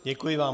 Děkuji vám.